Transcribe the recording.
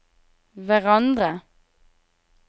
hverandre